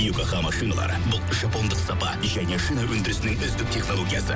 йокогама шиналары бұл жапондық сапа және шина өндірісінің үздік технологиясы